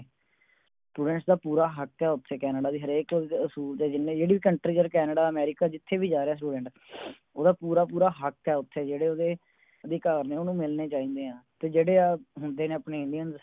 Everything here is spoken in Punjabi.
Students ਦਾ ਪੂਰਾ ਹੱਕ ਹੈ ਓਥੇ ਕੈਨੇਡਾ ਦੇ ਹਰੇਕ ਅਸੂਲ ਤੇ ਜਿੰਨੇ ਜਿਹੜੀ Country ਦੇ ਕੈਨੇਡਾ ਅਮਰੀਕਾ ਜਿਥੇ ਵੀ ਜਾ ਰਿਹੇ Student ਓਦਾ ਪੂਰਾ ਪੂਰਾ ਹੱਕ ਹੈ ਉਥੇ ਜਿਹੜੇ ਉਹਦੇ ਅਧਿਕਾਰ ਨੇ ਉਹਨੂੰ ਮਿਲਨੇ ਚਾਹੀਦੇ ਹੈ ਤੇ ਜਿਹੜੇ ਹੁੰਦੇ ਨੇ ਆਪਣੇ Indians